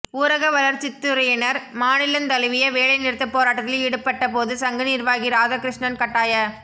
ஊரகவளர்ச்சித்துறையினர் மாநிலந் தழுவிய வேலை நிறுத்த போராட்டத்தில் ஈடுபட்ட போது சங்க நிர்வாகி ராதாகிருஷ்ணன் கட்டாய